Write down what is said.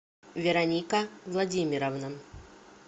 вероника владимировна